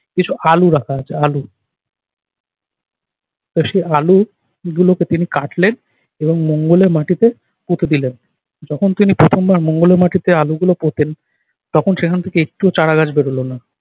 কিছু আলু রাখা আছে আলু। তো সে আলুগুলোকে তিনি কাটলেন এবং মঙ্গলের মাটিতে পুঁতে দিলেন। যখন তিনি প্রথমবার মঙ্গলের মাটিতে আলুগুলো পোঁতেন তখন সেখান থেকে একটু চারা গাছ বেরোলো না।